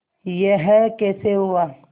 यह कैसे हुआ